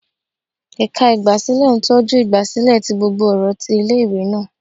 Ẹka igbasilẹ ntọju igbasilẹ ti gbógbó ọrọ tí ìlé-ìwé náá